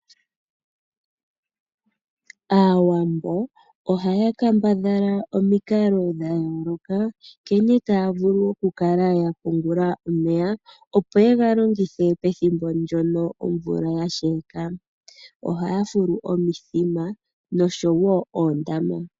Aawambo ohaya kambadhala omikalo dha yoloka nkene taya vulu oku kala ya pungula omeya opo ye galongithe pethimbo ndyono omvula yasheka .Ohaya fulu omithima nosho woo oondama.